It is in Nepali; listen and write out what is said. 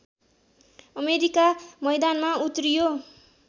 अमेरिका मैदानमा उत्रियो